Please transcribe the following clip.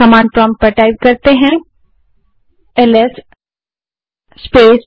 command prompt पर जाएँ और एलएस स्पेस